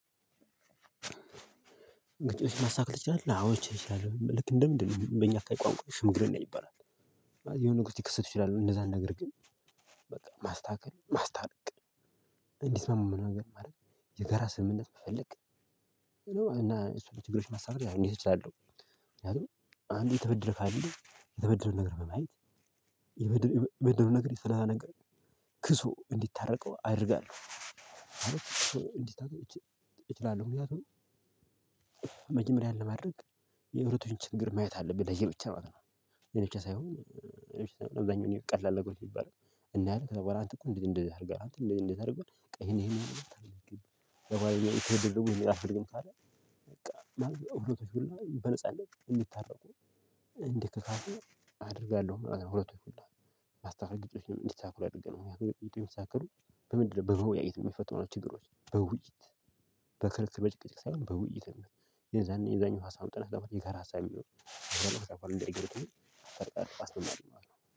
ጭቅጭቅ ማስተካከል ትችላለህ? አዎ እችላለሁኝ። ልክ እንደ ምንድነው በእኛ አካባቢ ቋንቋ ሽምግልና ይባላል የሆኑ ነገሮች ሊከሰቱ ይችላሉ እንደዛ ነገርግን በቃ ማስተካከል ማስታረቅ እንዲስማሙ የሆነ ነገር ማድረግ የጋራ ስምምነት መፈልግ እና እሱ ችግሮችን ማስተካከል እንዴት እችላለሁ አንድ የተበደለ ካለ የተበደለውን ነገር በማየት የበደለውን ነገር የሰራውን ነገር ክሶ እንዲታረቅ መጀመሪያ ይህን ለማድረግ የሁለቶችን ችግር ማየት አለብህ ለየብቻ ማለት ነው የኔ ብቻ እብዛኛውን ጊዜ ቀላል ነገሮች ይባላል እና አለ አንተ እኮ እንደዚህ እንደዚህ አድርገህ አንተ እንደዚህ አድርገህ በቃ ይሄን ይሄን አድርገህ ከዛ በኋላ ትብብር ደግሞ አልፈልግም ካለ በቃ ማለት ሁሉም ሰው በነጻነት በእንዲታረቁ እንዲከካሱ አደርጋለሁ ማለት ነው። ሁለቱን ሁላ ግጭቶችን እንዲስተካከሉ አድርገናል የሚስተካከሉ በምንድነው በመወያየት የሚፈቱ ችግሮች በውይይት በከርክ በጭቅጭቅ ሳይሆን በውይይት የዛኔ የዛኛው ሀሳብ ጥለህ የጋር ሀሳብ የሚሆነው ታስተምራለህ ማለት ነው